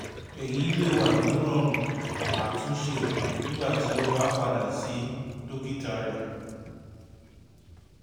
eyi le wa ni rọọrun atunṣe nigbati o ba pada si dokita rẹ